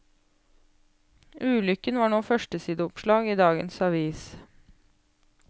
Ulykken var nå førstesideoppslag i dagens avis.